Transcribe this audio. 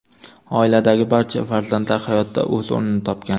Oiladagi barcha farzandlar hayotda o‘z o‘rnini topgan.